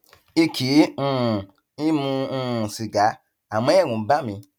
n kì um í mu um sìgá àmọ ẹrù ń bà mí